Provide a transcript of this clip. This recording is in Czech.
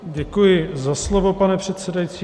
Děkuji za slovo, pane předsedající.